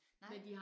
Nej